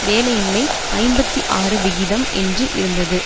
வேலையின்மை ஐம்பத்தி ஆறு விகிதம் என்று இருந்தது